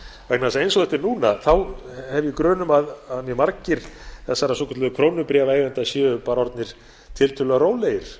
eins og þetta er núna hef ég grun um að mjög margir þessara svokölluðu krónubréfaeigenda séu bara orðnir tiltölulega rólegir